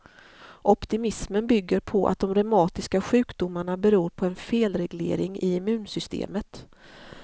Optimismen bygger på att de reumatiska sjukdomarna beror på en felreglering i immunsystemet.